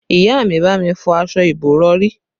Ìyá mi bá mi fọ aṣọ ìbòrọ̀rí